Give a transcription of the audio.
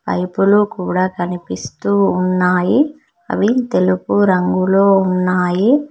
Pipe లు కూడా కనిపిస్తూ ఉన్న అవి తెలుగు రంగులో ఉన్నాయి.